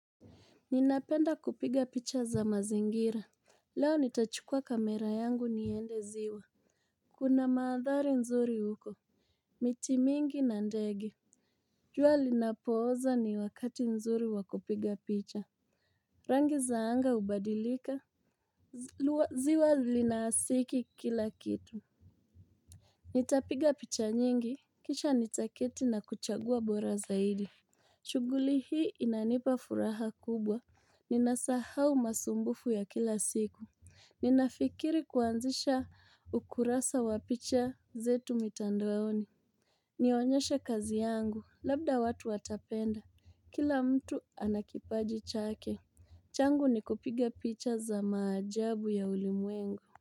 Ninapenda kupiga picha za mazingira. Leo nitachukua kamera yangu niende ziwa. Kuna madhari nzuri huko. Miti mingi na ndege. Jua linapooza ni wakati nzuri wakupiga picha. Rangi za anga hubadilika, ziwa linasiki kila kitu. Nitapiga picha nyingi. Kisha nitaketi na kuchagua bora zaidi. Shughuli hii inanipa furaha kubwa. Ninasahau masumbufu ya kila siku. Ninafikiri kuanzisha ukurasa wa picha zetu mitandaoni. Nionyeshe kazi yangu, labda watu watapenda kila mtu ana kipaji chake. Changu ni kupiga picha za maajabu ya ulimwengu.